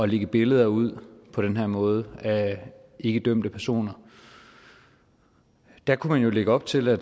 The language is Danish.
lægge billeder ud på den her måde af ikke dømte personer der kunne man jo lægge op til at